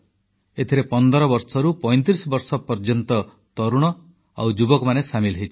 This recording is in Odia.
ଏଥିରେ 15 ବର୍ଷରୁ 35 ବର୍ଷ ପର୍ଯ୍ୟନ୍ତ ତରୁଣ ଓ ଯୁବକମାନେ ସାମିଲ ହୋଇଛନ୍ତି